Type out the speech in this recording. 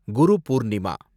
Guru Purnima